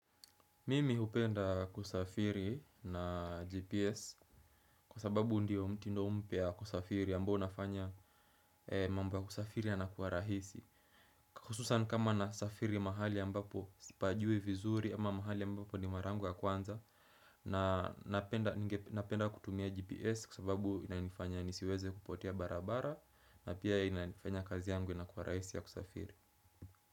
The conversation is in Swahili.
Mimi hupenda kusafiri na GPS kwa sababu ndiyo mtindo mpya wa kusafiri ambao unafanya mambo ya kusafiri yanakuwa rahisi. Hususan kama nasafiri mahali ambapo sipajui vizuri ama mahali ambapo ndio mara yangu ya kwanza na napenda kutumia GPS kwa sababu inanifanya nisiweze kupotea barabara na pia inafanya kazi yangu inakuwa rahisi ya kusafiri.